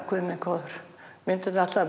guð minn góður myndirnar ætla